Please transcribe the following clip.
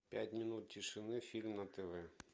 пять минут тишины фильм на тв